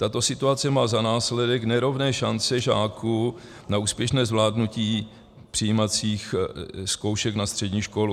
Tato situace má za následek nerovné šance žáků na úspěšné zvládnutí přijímacích zkoušek na střední školu.